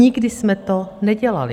Nikdy jsme to nedělali.